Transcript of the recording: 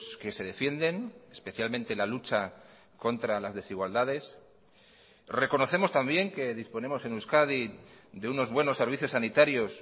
que se defienden especialmente la lucha contra las desigualdades reconocemos también que disponemos en euskadi de unos buenos servicios sanitarios